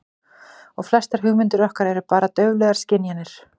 Og að flestar hugmyndir okkar eru bara dauflegar skynjanir.